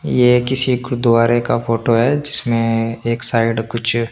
ये किसी गुरुध्वारे का फोटो हे जिसमे एक साईट कुछ --